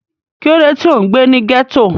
Kí ló dé tí ò ń gbé ní ghetto?